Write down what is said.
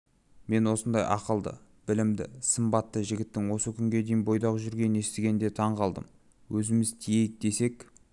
мен осындай ақылды білімді сымбатты жігіттің осы күнге дейін бойдақ жүргенін естігенде таңғалдым өзіміз тиейік десек